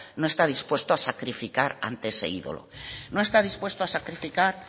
no está dispuesto a sacrificar ante ese ídolo no está dispuesto a sacrificar